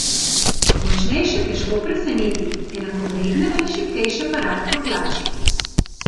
Močnejše težko preseneti, enakovredne ali šibkejše pa rad potlači.